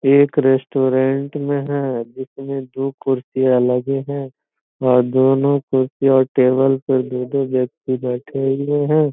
एक रेस्टोरेंट में है जिसमें दो कुर्सियाँ लगे हैं और दोनों कुर्सी और टेबल पे दो-दो व्यक्ति बैटें हुए हैं।